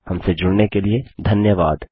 हमसे जुड़ने के लिए धन्यवाद